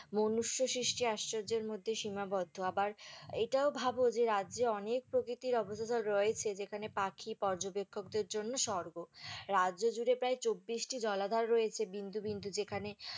মনুষ্য সৃষ্টি আশ্চর্য্যের মধ্যে সীমাবদ্ধ আবার এইটাও ভাবো যে, রাজ্যে অনেক প্রকৃতির observer রয়েছে, যেখানে পাখি পর্যবেক্ষকদের জন্য স্বর্গ, রাজ্য জুড়ে প্রায় চব্বিশটি জলাধার রয়েছে বিন্দু বিন্দু যেখানে